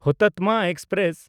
Hutatma express